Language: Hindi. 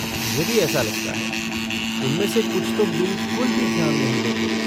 मुझे भी ऐसा लगता है, उनमें से कुछ तो बिलकुल भी ध्यान नहीं देते।